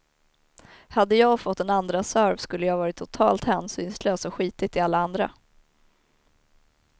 Hade jag fått en andraserve skulle jag varit totalt hänsynslös och skitit i alla andra.